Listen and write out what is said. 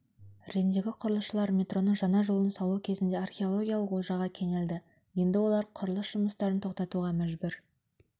римдегі құрылысшылар метроның жаңа жолын салу кезінде археологиялық олжаға кенелді енді олар құрылыс жұмыстарын тоқтатуға мәжбүр